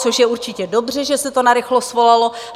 Což je určitě dobře, že se to narychlo svolalo.